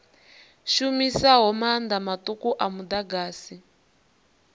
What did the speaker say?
shumisaho maanḓa maṱuku a muḓagasi